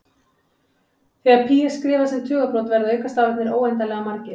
Þegar pí er skrifað sem tugabrot verða aukastafirnir óendanlega margir.